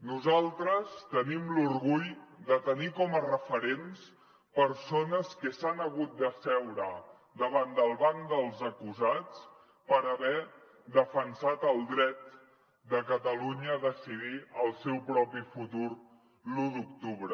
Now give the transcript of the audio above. nosaltres tenim l’orgull de tenir com a referents persones que s’han hagut d’asseure davant del banc dels acusats per haver defensat el dret de catalunya a decidir el seu propi futur l’u d’octubre